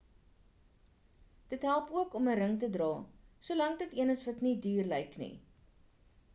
dit help ook om ‘n ring te dra solank dit een is wat nie duur lyk nie